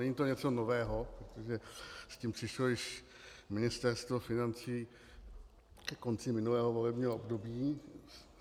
Není to něco nového, protože s tím přišlo již Ministerstvo financí ke konci minulého volebního období.